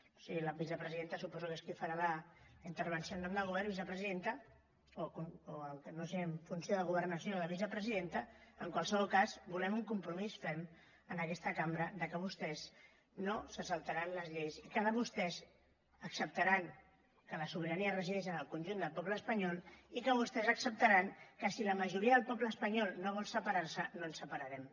o sigui la vicepresidenta suposo que és qui farà la intervenció en nom del govern vicepresidenta o no sé si en funció de governació o de vicepresidenta en qualsevol cas volem un compromís ferm en aquesta cambra que vostès no se saltaran les lleis i que vostès acceptaran que la sobirania regeix en el conjunt del poble espanyol i que vostès acceptaran que si la majoria del poble espanyol no vol separar se no ens separarem